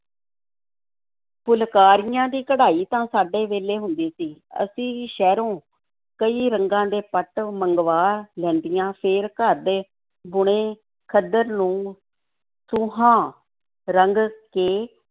ਫੁਲਕਾਰੀਆਂ ਦੀ ਕਢਾਈ ਤਾਂ ਸਾਡੇ ਵੇਲੇ ਹੁੰਦੀ ਸੀ, ਅਸੀਂ ਸ਼ਹਿਰੋਂ ਕਈ ਰੰਗਾਂ ਦੇ ਪੱਟ ਮੰਗਵਾ ਲੈਂਦੀਆਂ, ਫਿਰ ਘਰ ਦੇ ਬੁਣੇ ਖੱਦਰ ਨੂੰ ਸੂਹਾ ਰੰਗ ਕੇ